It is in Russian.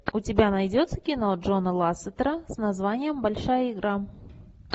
у тебя найдется кино джона лассетера с названием большая игра